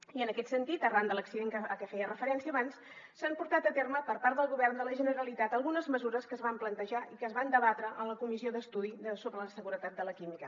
i en aquest sentit arran de l’accident a què feia referència abans s’han portat a terme per part del govern de la generalitat algunes mesures que es van plantejar i que es van debatre en la comissió d’estudi de la seguretat del sector de la petroquímica